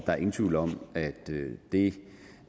er ingen tvivl om at det